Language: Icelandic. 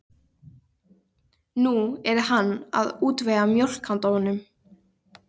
Nú yrði hann að útvega mjólk handa honum.